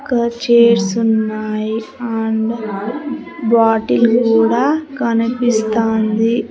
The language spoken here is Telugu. క చేర్స్ ఉన్నాయి అండ్ బాటిల్ కూడా కనిపిస్తాంది.